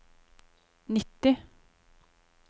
nitti